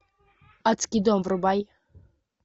адский дом врубай